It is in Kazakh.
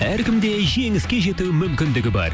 әркімде жеңіске жету мүмкіндігі бар